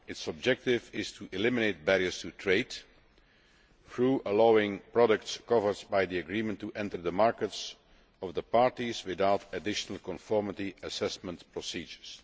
Its objective is to eliminate barriers to trade, by allowing products covered by the agreement to enter the markets of the parties without additional conformity assessment procedures.